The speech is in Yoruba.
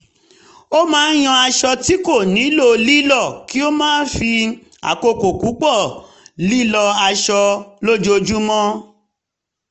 ó máa ń yan aṣọ tí kò nílò lílọ́ kí ó má fi àkókò púpọ̀ lílọ́ aṣọ lójoojúmọ́